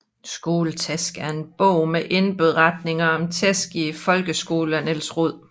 Skoletæsk er en bog med beretninger om tæsk i folkeskolen af Niels Roed